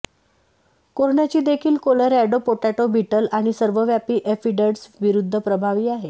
कोरण्याची देखील Colorado potato beetle आणि सर्वव्यापी ऍफिडस् विरुद्ध प्रभावी आहे